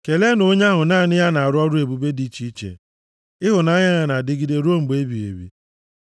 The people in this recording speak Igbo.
Keleenụ onye ahụ naanị ya na-arụ ọrụ ebube dị iche iche, ịhụnanya ya na-adịgide ruo mgbe ebighị ebi.